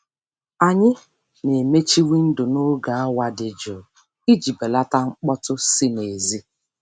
Anyị na-emechi windo n'oge awa dị jụụ iji belata mkpọtụ si n'èzí.